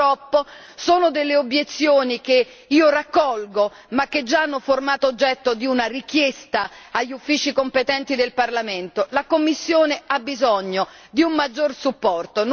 purtroppo, sono delle obiezioni che io raccolgo, ma che già hanno formato oggetto di una richiesta agli uffici competenti del Parlamento la commissione ha bisogno di un maggior supporto.